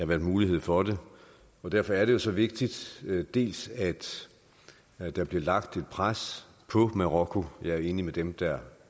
været mulighed for det og derfor er det jo så vigtigt dels at der bliver lagt et pres på marokko jeg er enig med dem der